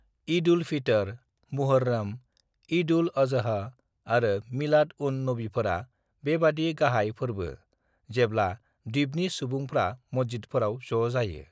"ईद-उल-फितर, मुहर्रम, ईद-उल-अजहा आरो मिलाद-उन-नबीफोरा बेबादि गाहाय फोरबो जेब्ला द्वीपनि सुबुंफ्रा मस्जिदफोराव ज' जायो।"